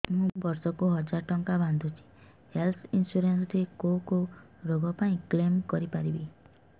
ମୁଁ ବର୍ଷ କୁ ହଜାର ଟଙ୍କା ବାନ୍ଧୁଛି ହେଲ୍ଥ ଇନ୍ସୁରାନ୍ସ ରେ କୋଉ କୋଉ ରୋଗ ପାଇଁ କ୍ଳେମ କରିପାରିବି